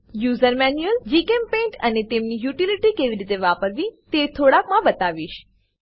user manual JChemPaint અને તેમની utility કેવી રીતે વાપરવી તે થોડાક મા બતાવીશ